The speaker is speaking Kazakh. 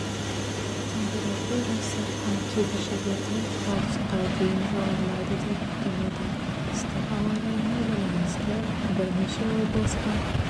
температурасы ал кейбір жерлерде градусқа дейін жоғарылайды деп күтіледі ыстық ауа райына байланысты бірнеше облысқа